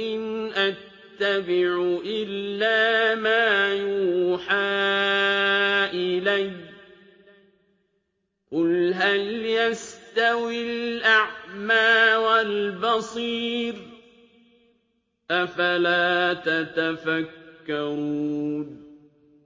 إِنْ أَتَّبِعُ إِلَّا مَا يُوحَىٰ إِلَيَّ ۚ قُلْ هَلْ يَسْتَوِي الْأَعْمَىٰ وَالْبَصِيرُ ۚ أَفَلَا تَتَفَكَّرُونَ